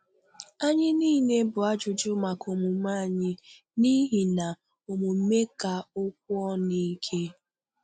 Anyị niile bụ ajụjụ maka omume anyị, n’ihi na omume ka okwu ọ̀nụ ìkè.